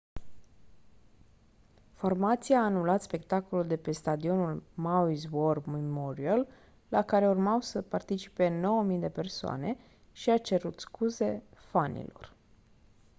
formația a anulat spectacolul de pe stadionul maui's war memorial la care urmau să participe 9 000 de persoane și a cerut scuze fanilor